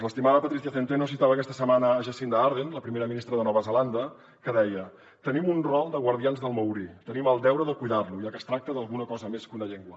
l’estimada patrycia centeno citava aquesta setmana jacinda ardern la primera ministra de nova zelanda que deia tenim un rol de guardians del maori tenim el deure de cuidar lo ja que es tracta d’alguna cosa més que una llengua